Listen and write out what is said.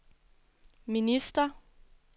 minister